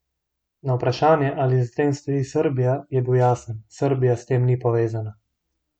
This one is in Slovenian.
Na vprašanje, ali za tem stoji Srbija, je bil jasen: "Srbija s tem ni povezana.